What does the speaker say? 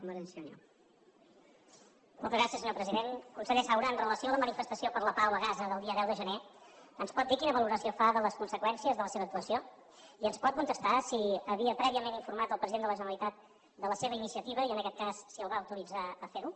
conseller saura amb relació a la manifestació per la pau a gaza del dia deu de gener ens pot dir quina valoració fa de les conseqüèn·cies de la seva actuació i ens pot contestar si havia prè·viament informat el president de la generalitat de la seva iniciativa i en aquest cas si el va autoritzar a fer·ho